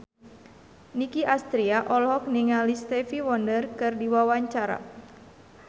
Nicky Astria olohok ningali Stevie Wonder keur diwawancara